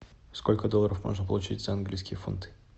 сколько долларов можно получить за английские фунты